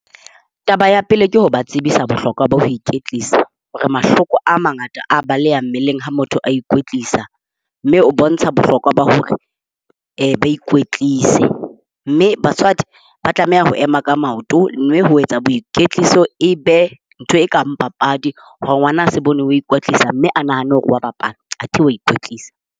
Taba ya pele, ke ho ba tsebisa bohlokwa ba ho iketlisa hore mahloko a mangata a baleha mmeleng ha motho a ikwetlisa, mme o bontsha bohlokwa ba hore eh ba ikwetlisa. Mme batswadi ba tlameha ho ema ka maoto mme ho etsa boiketliso e be ntho e kang papadi. Hore ngwana a se bone hore o a ikwetlisa, mme a nahane hore o a bapala athe o a ikwetlisa.